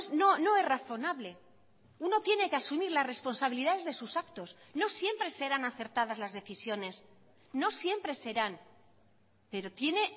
no no es razonable uno tiene que asumir las responsabilidades de sus actos no siempre serán acertadas las decisiones no siempre serán pero tiene